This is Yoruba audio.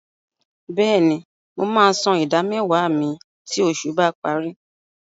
Bẹ́ẹ̀ni, mo máa san ìdámẹ́wàá mi tí oṣù bá parí.